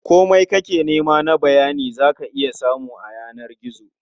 Komai kake nema na bayani za ka iya samu a yanar gizo.